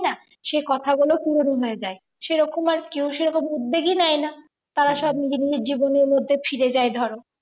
সে কথাগুলো পুরনো হয়ে যায় সেরকম আর কেউ সেরকম উদ্বেগি নেই না তারা সব নিজের নিজের জীবনের মধ্যে ফিরে যাই ধরো